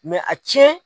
a cɛn